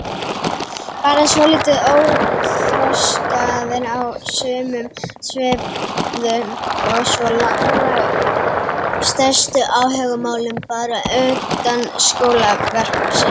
Bara svolítið óþroskaðir á sumum sviðum og svo lágu stærstu áhugamálin bara utan skólakerfisins.